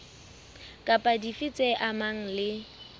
kapa dife tse amanang le